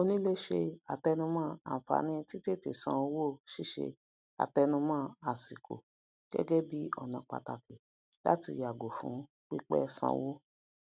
onílé se àtenumó ànfààní ti tètè san owó sise atenumo àsìkò gege bi ona pataki lati yago fún pípé sanwo